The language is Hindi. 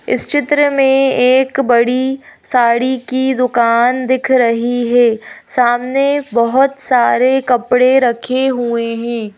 इस चित्र में एक बड़ी साड़ी की दुकान दिख रही है। सामने बहोत सारे कपड़े रखे हुए हैं।